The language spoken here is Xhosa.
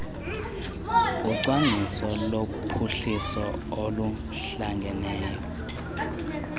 ucwangciso lophuhliso oluhlangeneyo